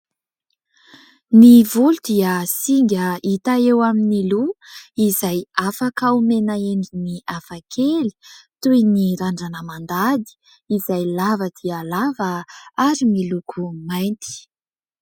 Ny volo dia singa hita eo amin'ny loha izay afaka homena endriny hafa kely toy ny randrana mandady izay lava dia lava ary miloko mainty.